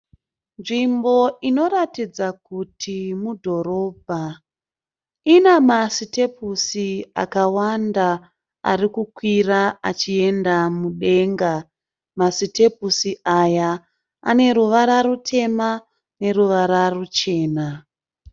Nzvimbo inoratidza kuti mudhorobha. In a ma sitepusi akawanda arikukwira achienda mudenga. Masitepusi aya aneruvara rutema neruvara ruchena.